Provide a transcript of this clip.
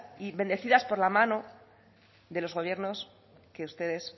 y bendecidas por la mano de los gobiernos que ustedes